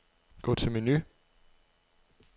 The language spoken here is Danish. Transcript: Gå til menu.